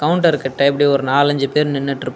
counter கிட்ட இப்டி ஒரு நாலஞ்சு பேர் நின்னுட்ருப்பா--